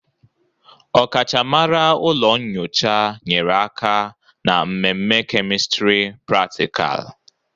Ọkachamara ụlọ nyocha nyere aka ná mmeme kemistri pratịkal.